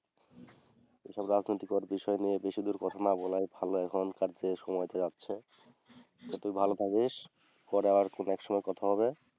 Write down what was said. এসব রাজনৈতিক বিষয় নিয়ে বেশিদূর কথা না বলেই ভালো। এখনকার যে সময়টা যাচ্ছে। সে তুই ভালো থাকিস। পরে আর কোনও একসময় কথা হবে।